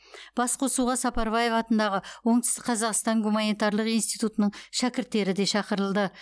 басқосуға сапарбаев атындағы оңтүстік қазақстан гуманитарлық институтының шәкірттері де шақырылды